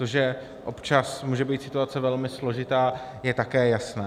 To, že občas může být situace velmi složitá, je také jasné.